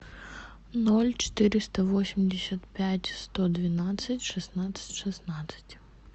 ноль четыреста восемьдесят пять сто двенадцать шестнадцать шестнадцать